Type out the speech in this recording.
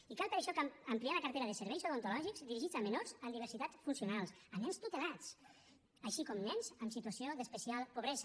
i cal per això ampliar la cartera de serveis odontològics dirigits a menors amb diversitat funcional a nens tutelats així com a nens en situació d’especial pobresa